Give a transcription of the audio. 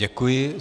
Děkuji.